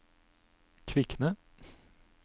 Kvikne